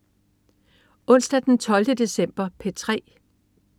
Onsdag den 12. december - P3: